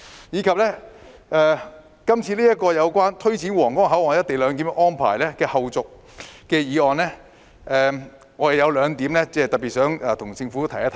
此外，對於這項有關推展皇崗口岸「一地兩檢」安排的後續工作的議案，我有兩個要點特別想向政府提出。